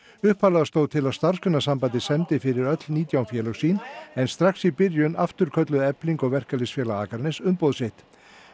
upphaflega stóð til að Starfsgreinasambandið semdi fyrir öll nítján félög sín en strax í byrjun afturkölluðu Efling og Verkalýðsfélag Akraness umboð sitt